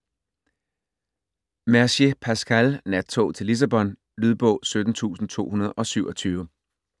Mercier, Pascal: Nattog til Lissabon Lydbog 17227